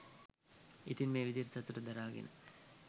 ඉතින් මේ විදියට සතුට දරාගෙන